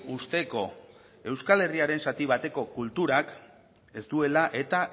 uzteko euskal herriaren zati bateko kulturak ez duela eta